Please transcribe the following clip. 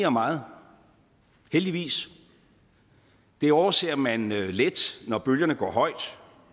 om meget heldigvis det overser man let når bølgerne går højt